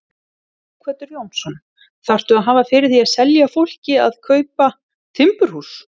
Sighvatur Jónsson: Þarftu að hafa fyrir því að selja fólki að kaupa timburhús?